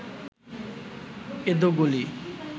এঁদো গলির